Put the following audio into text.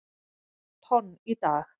tonn í dag.